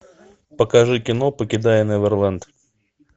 покажи кино покидая неверленд